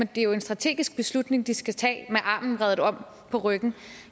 det er jo en strategisk beslutning de skal tage med armen vredet om på ryggen